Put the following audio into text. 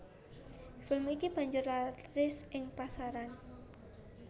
Film iki banjur laris ing pasaran